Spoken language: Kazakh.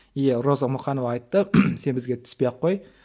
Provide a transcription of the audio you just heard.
и роза мұқанова айтты сен бізге түспей ақ қой